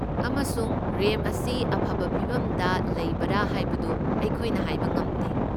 ꯑꯃꯁꯨꯡ ꯔꯦꯝꯞ ꯑꯁꯤ ꯑꯐꯕ ꯐꯤꯚꯝꯗ ꯂꯩꯕꯔꯥ ꯍꯥꯏꯕꯗꯨ ꯑꯩꯈꯣꯏꯅ ꯍꯥꯏꯕ ꯉꯝꯗꯦ꯫